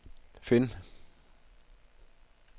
find